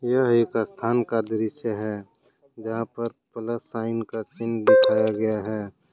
यह एक स्थान का दृश्य है जहां पर प्लस साइन का सीन दिखाया गया है।